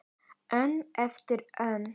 Önn eftir önn.